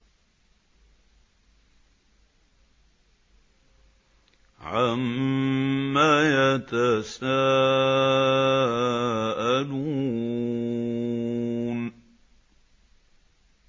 عَمَّ يَتَسَاءَلُونَ